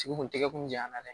Tigi kun tɛgɛ kun diyara dɛ